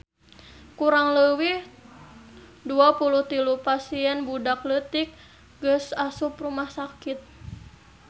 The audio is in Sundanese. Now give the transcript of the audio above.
Kurang leuwih 23 pasien budak leutik geus asup rumah sakit